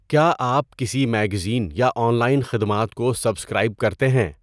کیا آپ کسی میگزین یا آن لائن خدمات کو سبسکرائب کرتے ہیں؟